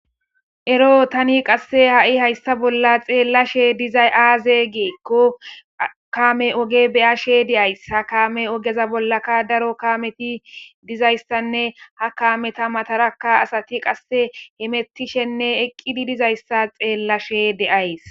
Ero tani haysa bolla xelashe dizays aze giiko kamey oge be'ashe de'ays ha kame ogeza bollaka daro kameti dizaysa haakameta matani asati qase hemetidinee eqidi dizayisa xelashe de'ays